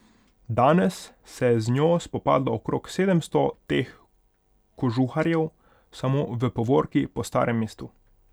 Danes se je z njo spopadlo okrog sedemsto teh kožuharjev samo v povorki po starem mestu.